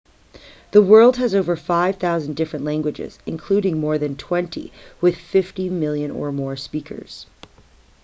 the world has over 5,000 different languages including more than twenty with 50 million or more speakers